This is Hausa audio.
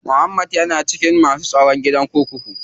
Muhammad ya na cikin masu tsaro a gidan kurkuku.